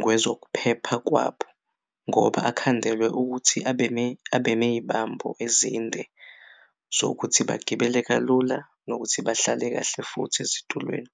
ngozokuphepha khona kwabo ngoba akhandelwe ukuthi abeney'bambo ezinde zokuthi bagibele kalula nokuthi bahlale kahle futhi ezitulweni.